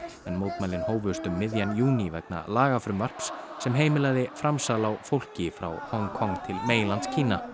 en mótmælin hófust um miðjan júní vegna lagafrumvarps sem heimilaði framsal á fólki frá Hong Kong til meginlands